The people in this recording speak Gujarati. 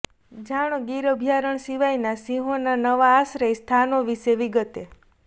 જાણો ગીર અભ્યારણ સિવાયના સિંહોના નવા આશ્રય સ્થાનો વિશે વિગતે